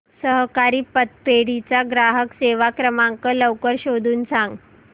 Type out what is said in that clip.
सहकारी पतपेढी चा ग्राहक सेवा क्रमांक लवकर शोधून सांग